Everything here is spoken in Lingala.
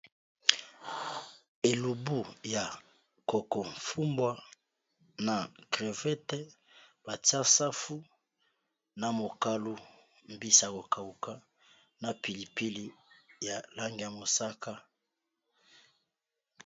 Elubu ya koko fumbwa na crevete batia safu na mokalu, mbisa ya kokauka na pilipili ya lange ya mosaka.